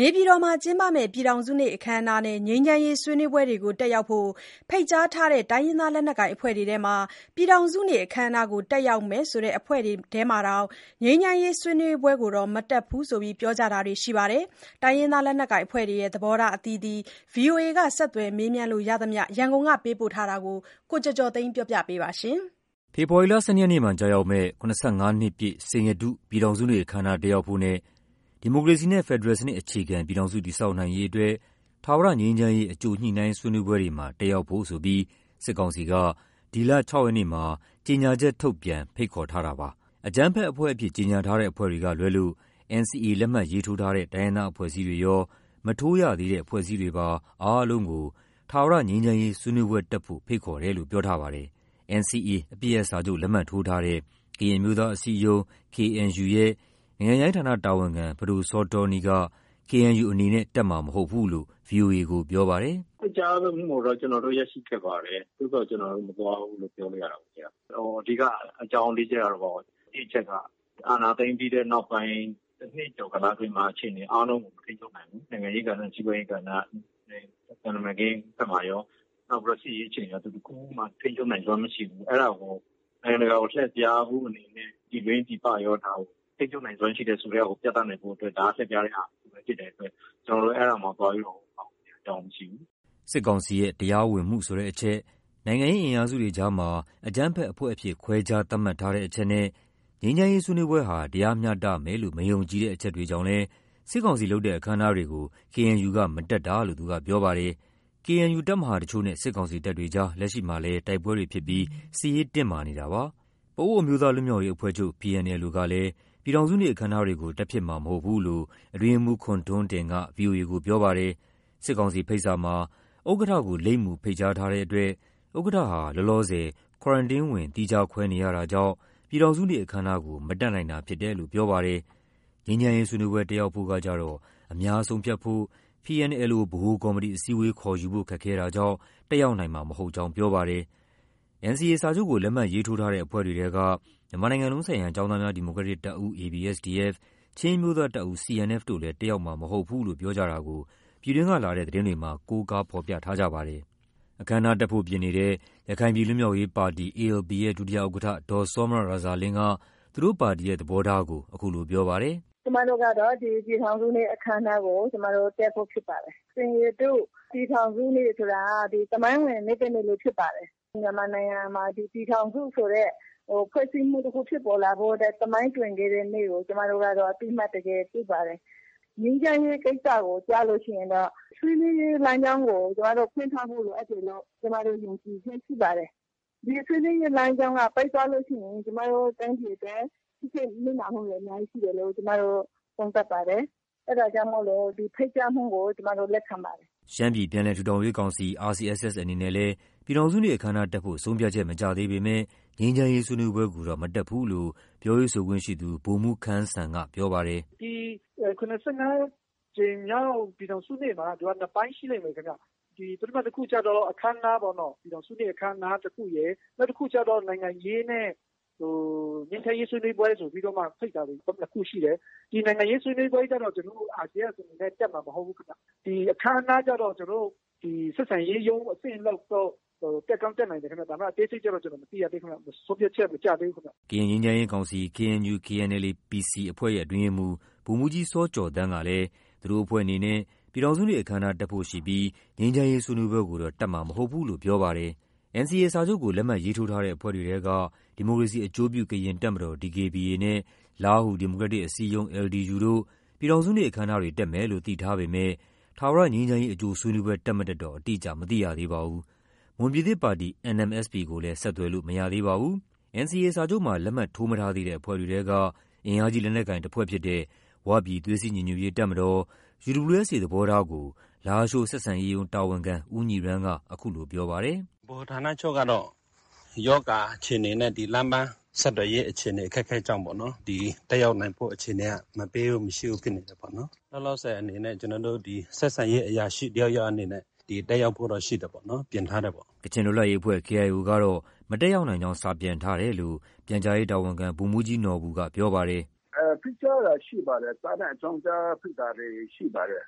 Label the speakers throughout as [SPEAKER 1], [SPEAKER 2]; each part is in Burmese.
[SPEAKER 1] နေပြည်တော်မှာကျင်းပမယ့် ပြည်ထောင်စုနေ့အခမ်းအနားနဲ့ ငြိမ်းချမ်းရေးဆွေးနွေးပွဲတွေကို တက်ရောက်ဖို့ ဖိတ်ကြားထားတဲ့ တိုင်းရင်းသားလက်နက်ကိုင်အဖွဲ့တွေထဲမှာ ပြည်ထောင်စုနေ့ အခမ်းအနားကို တက်ရောက်မယ်ဆိုတဲ့ အဖွဲ့တွေထဲမှာတောင် ငြိမ်းချမ်းရေးဆွေးနွေးပွဲကိုတော့ မတက်ဘူးလို့ ပြောကြတာတွေရှိပါတယ်။ တိုင်းရင်းသားလက်နက်ကိုင်အဖွဲ့တွေရဲ့ သဘောထား အသီးသီး ဗွီအိုအေက ဆက်သွယ်မေးမြန်းလို့ရသမျှ ရန်ကုန်ကပေးပို့ထားတာကို ကိုကျော်ကျော်သိန်းက တင်ပြပေးထားပါတယ်။ ဖေဖော်ဝါရီလ ၁၂ ရက်နေ့မှာကျရောက်မယ့် ၇၅ နှစ်ပြည့် စိန်ရတု ပြည်ထောင်စုနေ့အခမ်းအနား တက်ရောက်ဖို့နဲ့ ဒီမိုကရေစီနဲ့ ဖက်ဒရယ်စနစ်အခြေခံ ပြည်ထောင်စုတည်ဆောက်နိုင်ရေးအတွက် ထာဝရငြိမ်းချမ်းရေး အကြိုညှိနှိုင်းဆွေးနွေးပွဲတွေမှာ တက်ရောက်ဖို့ဆိုပြီး စစ်ကောင်စီက ဒီလ ၆ ရက်နေ့မှာ ကြေညာချက်ထုတ်ပြန် ဖိတ်ခေါ်ခဲ့ပါတယ်။ အကြမ်းဖက်အဖွဲ့အဖြစ် ကြေညာထားတဲ့အဖွဲ့တွေကလွဲလို့ NCA လက်မှတ်ရေးထိုးထားတဲ့ တိုင်းရင်းသားအဖွဲ့အစည်းတွေရော၊ မထိုးရသေးတဲ့အဖွဲ့အစည်းတွေပါ အားလုံးကို ထာဝရငြိမ်းချမ်းရေးဆွေးနွေးပွဲတက်ဖို့ ဖိတ်ခေါ်တယ်လို့ ပြောကြားထားပါတယ်။ NCA အပစ်ရပ်စာချုပ် လက်မှတ်ထိုးထားတဲ့ ကရင်အမျိုးသားအစည်းအရုံး KNU ရဲ့ နိုင်ငံခြားရေးဌာနတာဝန်ခံ ပဒိုစောတောနီး က KNU အနေနဲ့ တက်မှာမဟုတ်ဘူးလို့ ဗွီအိုအေကိုပြောပါတယ်။ “ဖိတ်ကြားမှုကိုတော့ ကျနော်တို့ ရရှိခဲ့ပါတယ်။ သို့သော် ကျနော်တို့ မသွားဘူးလို့ ပြောလို့ ရတာပေ့ါဗျာ။ အဓိက အကြောင်း ၄ ချက်ကတော့- တစ် အချက်က အာဏာသိမ်းပြီးတဲ့နောက်ပိုင်း တနှစ်ကျော်ကာလအတွင်းမှာ အခြေအနေအားလုံးကို မထိန်းချုပ်နိုင်ဘူး။ နိုင်ငံရေးကဏ္ဍ၊ စီးပွားရေးကဏ္ဍနဲ့ သံတမန်ရေးဘက်မှာရော၊ နောက်ပြီး စစ်ရေးအခြေအနေမှာရော သူတခုမှ ထိန်းချုပ်နိုင်စွမ်းမရှိဘူး။ အဲဒါကို နိုင်ငံတကာကို လှည့်ဖြားနိုင်ဖို့အနေနဲ့ ပြည်တွင်းပြည်ပရော ဒါကို ထိန်းချုပ်နိုင်စွမ်းရှိတယ်ဆိုတာကို ပြသနိုင်ဖို့အတွက် ဒါက လှည့်ဖြားတဲ့ဟာတခုပဲ ဖြစ်တဲ့အတွက် ကျနော်တို့ အဲဒါမှာ သွားပြီးတော့ ပါဝင်စရာ အကြောင်းမရှိဘူး။” စစ်ကောင်စီရဲ့ တရားဝင်မှုဆိုတဲ့အချက်၊ နိုင်ငံရေးအင်အားစုတွေအကြားမှာ အကြမ်းဖက်အဖွဲ့အဖြစ် ခွဲခြား သတ်မှတ်ထားတဲ့အချက်နဲ့ ငြိမ်းချမ်းရေးဆွေးနွေးပွဲဟာ တရားမျှတမယ်လို့ မယုံကြည်တဲ့အချက်တွေကြောင့်လည်း စစ်ကောင်စီလုပ်တဲ့ အခမ်းအနားတွေကို KNU မတက်တာလို့ သူကပြောပါတယ်။ KNU ရဲ့ တပ်မဟာတချို့နဲ့ စစ်ကောင်စီတပ်တွေ လက်ရှိမှာလည်း တိုက်ပွဲတွေဖြစ်ပြီး စစ်ရေးတင်းမာနေပါတယ်။ ပအိုးဝ်အမျိုးသားလွတ်မြောက်ရေးအဖွဲ့ချုပ် (PNLO) ကလည်း ပြည်ထောင်စုနေ့ အခမ်းအနားတွေကို တက်ဖြစ်မှာမဟုတ်ဘူးလို့ အတွင်းရေးမှူး ခွန်ထွန်းတင်က ဗွီအိုအေကို ပြောပါတယ်။ စစ်ကောင်စီရဲ့ဖိတ်စာမှာ ဥက္ကဋ္ဌကို လိပ်မူတပ်ဖိတ်ကြားထားတဲ့အတွက် ဥက္ကဋ္ဌဟာ လောလောဆယ် Quarantine ဝင် သီးခြားခွဲနေရတာကြောင့် ပြည်ထောင်စုနေ့အခမ်းအနားကို မတက်နိုင်တာဖြစ်တယ်လို့ ပြောပါတယ်။ ငြိမ်းချမ်းရေးဆွေးနွေးပွဲ တက်ရောက်ဖို့ကကျတော့ အများဆုံးဖြတ်ဖို့ PNLO ဗဟိုကော်မတီ အစည်းအဝေး ခေါ်ယူဖို့ခက်ခဲတာကြောင့် တက်ရောက်နိုင်မှာမဟုတ်ကြောင်း ပြောပါတယ်။ NCA စာချုပ်ကို လက်မှတ်ရေးထိုးထားတဲ့ အဖွဲ့တွေထဲက မြန်မာနိုင်ငံလုံးဆိုင်ရာ ကျောင်းသားများ ဒီမိုကရက်တစ် တပ်ဦး (ABSDF)၊ ချင်းအမျိုးသားတပ်ဦး (CNF) တို့လည်း တက်ရောက်မှာမဟုတ် ဘူးလို့ ပြောကြတာကို ပြည်တွင်းကလာတဲ့ သတင်းတွေမှာ ကိုးကားဖော်ပြထားကြပါတယ်။ တက်ဖို့ပြင်နေတဲ့ ရခိုင်ပြည် လွတ်မြောက်ရေးပါတီ (ALP) ရဲ့ ဒုဥက္ကဋ္ဌ ဒေါ်စောမြရာဇာလင်းက သူတို့ပါတီရဲ့ သဘောထားကို အခုလိုပြောပါတယ်။ “ကျမတို့ကတော့ ဒီပြည်ထောင်စုနေ့ အခမ်းအနားကို တက်ဖို့ ဖြစ်ပါတယ်။ စိန်ရတု ပြည်ထောင်စုနေ့ဆိုတာ သမိုင်းဝင် နေ့တနေ့လည်းဖြစ်ပါတယ်။ မြန်မာနိုင်ငံမှာ ဒီပြည်ထောင်စုဆိုတဲ့ ဖွဲ့စည်းမှုတခု ဖြစ်ပေါ်လာဖို့အတွက် သမိုင်းတွင်ခဲ့တဲ့နေ့ကို ကျမတို့က အသိအမှတ် တကယ်ပြုပါတယ်။ ငြိမ်းချမ်းရေးကိစ္စကျရင်တော့ ဆွေးနွေးရေးလမ်းကြောင်းကို ကျမတို့ ဖွင့်ထားဖို့ လိုအပ်တယ်လို့ ယုံကြည်ချက်ရှိပါတယ်။ ဒီဆွေးနွေးရေးလမ်းကြောင်းက ပိတ်သွားလို့ရှိရင် ကျမတို့ တိုင်းပြည်အတွက် ထိခိုက်နစ်နာမှုတွေ အများကြီးရှိတယ်လို့ ကျမတို့ သုံးသပ်ပါတယ်။ အဲဒါကြောင့်မို့ ဒီဖိတ်ကြားမှုကို လက်ခံပါတယ်။” ရှမ်းပြည်ပြန်လည်ထူထောင်ရေးကောင်စီ (RCSS) အနေနဲ့လည်း ပြည်ထောင်စုနေ့အခမ်းအနားတက်ဖို့ ဆုံးဖြတ်ချက် မကျသေးပေမယ့် ငြိမ်းချမ်းရေးဆွေးနွေးပွဲကိုတော့ မတက်ဘူးလို့ ပြောရေးဆိုခွင့်ရှိသူ ဗိုလ်မှူးခမ်းစံကပြောပါတယ်။ “ဒီ ၇၅ ကြိမ်မြောက် ပြည်ထောင်စုနေ့မှာ သူက နှစ်ပိုင်းရှိလိမ့်မယ်ဗျ။ ပထမတခုကျတော့ ပြည်ထောင်စုနေ့အခမ်းအနားတခုရယ်။ နောက်တခုကျတော့ နိုင်ငံရေးနဲ့ ငြိမ်းချမ်းရေးဆွေးနွေးပွဲဆိုပြီးမှ ဖိတ်တာတွေ ၂ ခုရှိတယ်။ ဒီနိုင်ငံရေးဆွေးနွေးပွဲကျတော့ ကျနော်တို့ RCSS အနေနဲ့ တက်မှာမဟုတ်ဘူးခင်ဗျ။ အခမ်းအနားကျတော့ ကျနော်တို့ ဆက်ဆံရေးရုံးအဆင့်လောက်တော့ တက်ကောင်းတက်နိုင်တယ်ခင်ဗျ။ ဒါပေမဲ့ အသေးစိတ်တော့ ကျနော် မသိရသေးဘူး။ ဆုံးဖြတ်ချက် မကျသေးဘူးခင်ဗျ။” ကရင်ငြိမ်းချမ်းရေးကောင်စီ (KNU/KNLA-PC) အဖွဲ့ရဲ့အတွင်းရေးမှူး ဗိုလ်မှူးကြီးစောကျော်သန်းကလည်း သူတို့အဖွဲ့အနေနဲ့ ပြည်ထောင်စုနေ့အခမ်းအနား တက်ဖို့ရှိပြီး ငြိမ်းချမ်းရေးဆွေးနွေးပွဲကိုတော့ တက်မှာမဟုတ်ဘူးလို့ ပြောပါတယ်။ NCA စာချုပ်ကို လက်မှတ်ရေးထိုးထားတဲ့အဖွဲ့တွေထဲက ဒီမိုကရေစီအကျိုးပြု ကရင်တပ်မတော် (DKBA) နဲ့ လားဟူ ဒီမိုကရက်တစ် အစည်းအရုံး (LDU) တို့ ပြည်ထောင်စုနေ့အခမ်းအနားတွေ တက်မယ်လို့ သိထားပေမဲ့ ထာဝရငြိမ်းချမ်းရေး အကြိုဆွေးနွေးပွဲ တက်မတက်တော့ အတိအကျ မသိရသေးပါဘူး။ မွန်ပြည်သစ်ပါတီ (NMSP) ကိုလည်း ဆက်သွယ်လို့ မရသေးပါဘူး။ NCA စာချုပ်မှာ လက်မှတ် ထိုးမထားသေးတဲ့အဖွဲ့တွေထဲက အင်အားကြီးလက်နက်ကိုင်တဖွဲ့ဖြစ်တဲ့ ဝပြည် သွေးစည်းညီညွတ်ရေး တပ်မတော် (UWSA) သဘောထားကို လားရှိုး ဆက်ဆံရေးရုံးတာဝန်ခံ ဦးညီရန်းက အခုလိုပြောပါတယ်။ “ဗဟိုဌာနချုပ်ကတော့ ရောဂါအခြေအနေနဲ့ လမ်းပန်းဆက်သွယ်ရေးအခြေအနေ အခက်အခဲကြောင့်ပေ့ါနော် တက်ရောက်နိုင်ဖို့ အခြေအနေ မပေးဘူး၊ မရှိဘူးဖြစ်နေတယ်ပေါ့နော်။ လောလောဆယ် အနေနဲ့ ကျနော်တို့ ဒီ ဆက်ဆံရေးအရာရှိတယောက် ယောက်အနေနဲ့ တက်ရောက်ဖို့တော့ ရှိတယ်ပေါ့နော်။” ကချင်လွတ်လပ်ရေးအဖွဲ့ (KIO) ကတော့ မတက်ရောက်နိုင်ကြောင်း စာပြန်ထားတယ်လို့ ပြန်ကြားရေးတာဝန်ခံ ဗိုလ်မှူးကြီး နော်ဘူက ပြောပါတယ်။ “ဖိတ်ကြားတာရှိပါတယ်။ စာနဲ့ အကြောင်းကြား ဖိတ်တာတွေရှိပါတယ်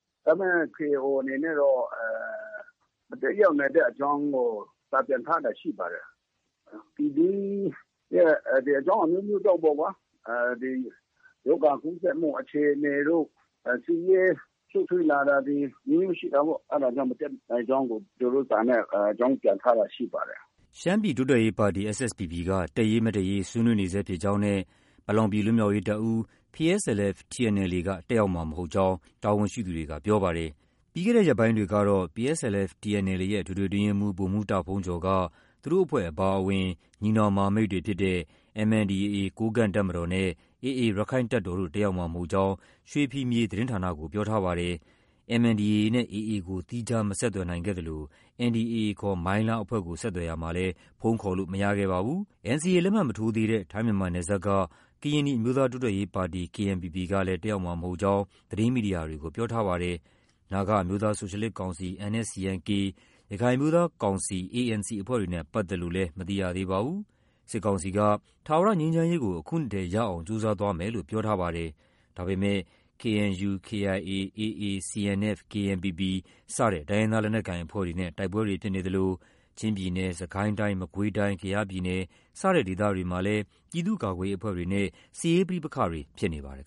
[SPEAKER 1] ။ ဒါပေမဲ့ KIO အနေနဲ့တော့ မတက်ရောက်နိုင်တဲ့အကြောင်းကို စာပြန်ထားတာရှိပါတယ်။ ပြည်တွင်းရဲ့အကြောင်းအမျိုးမျိုးကြောင့်ပေ့ါကွာ။ ဒီ ရောဂါကူးစက်မှုအခြေအနေတို့၊ စစ်ရေးရှုပ်ထွေးလာတာတွေ အမျိုးမျိုးရှိတာပေ့ါ။ အဲဒါကြောင့် မတက်နိုင်ကြောင်းကို စာနဲ့ အကြောင်းပြန်ထားတာရှိပါတယ်။” ရှမ်းပြည်တိုးတက်ရေးပါတီ (SSPP) က တက်ရေး၊ မတက်ရေး ဆွေးနွေးနေဆဲဖြစ်ကြောင်းနဲ့ ပလောင်ပြည် လွတ်မြောက်ရေးတပ်ဦး (PSLF/TNLA) က တက်ရောက်မှာမဟုတ်ကြောင်း တာဝန် ရှိသူတွေက ပြောပါတယ်။ ပြီးခဲ့တဲ့ရက်ပိုင်းတွေကတော့ PSLF/TNLA ရဲ့ အထွေထွေအတွင်းရေးမှူး ဗိုလ်မှူးတာ့ဘုန်းကျော်က သူတို့အဖွဲ့အပါအဝင် ညီနောင် မဟာမိတ်တွေဖြစ်တဲ့ MNDAA ကိုးကန့်တပ်မတော်နဲ့ AA ရက္ခိုင့်တပ်တော်တို့ တက်ရောက်မှာမဟုတ်ကြောင်း ရွှေဖီမြေသတင်းဌာနကို ပြောထားပါတယ်။ MNDAA နဲ့ AA ကို သီခြား မဆက်သွယ်နိုင်ခဲ့သလို NDAA ခေါ် မိုင်းလားအဖွဲ့ကို ဆက်သွယ်ရာမှာ လည်း ဖုန်းခေါ်ဆိုလို့မရခဲ့ပါဘူး။ NCA လက်မှတ်မထိုးသေးတဲ့ ထိုင်း-မြန်မာနယ်စပ်က ကရင်နီအမျိုးသားတိုးတက်ရေးပါတီ (KNPP) ကလည်း တက်ရောက်မှာ မဟုတ်ကြောင်း သတင်းမီဒီယာတွေကို ပြောထားပါတယ်။ နာဂအမျိုးသားဆိုရှယ်လစ်ကောင်စီ (NSCN-K) ၊ ရခိုင်အမျိုးသား ကောင်စီ (ANC) အဖွဲ့တွေနဲ့ပတ်သက်လို့လည်း မသိရသေးပါဘူး။ စစ်ကောင်စီက ထာဝရငြိမ်းချမ်းရေးကို အခုနှစ်ထဲ ရအောင်ကြိုးစားသွားမယ်လို့ ပြောကြားထားပါတယ်။ ဒါပေမယ့် KNU၊ KIA၊ AA CNF၊ KNPP စတဲ့ တိုင်းရင်းသားလက်နက်ကိုင်အဖွဲ့တွေနဲ့ တိုက်ပွဲတွေဖြစ်နေသလို ချင်းပြည်နယ်၊ စစ်ကိုင်းတိုင်း၊ မကွေးတိုင်း၊ ကယားပြည်နယ် စတဲ့ဒေသတွေမှာလည်း ပြည်သူ့ကာကွယ်ရေးအဖွဲ့တွေနဲ့ စစ်ရေးပဋိပက္ခတွေ ဖြစ်နေပါတယ်